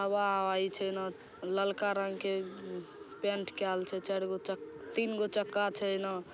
हवा हवाई छै ना ललका रंग के पेंट कैल छै चार गो चक तीन गो चक्का छै एन।